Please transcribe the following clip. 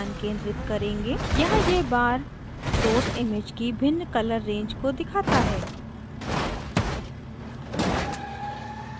यहाँ यह bar source image की भिन्न colour range को दिखाता है